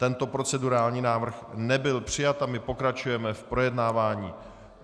Tento procedurální návrh nebyl přijat a my pokračujeme v projednávání.